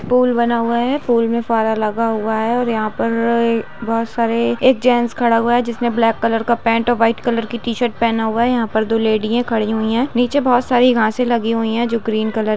pool बना हुआ है पूल मे फव्वारा लगा हुआ है और यहाँ पर बहोत सारे एक जैंट्स खड़ा हुआ है जिसने ब्लैक कलर का पेंट और व्हाइट कलर का टी-शर्ट पहन हुआ है यहाँ पर दो लैडी है खड़ी हुई है नीचे बहोत सारी घासे लगी हुई है जो ग्रीन कलर --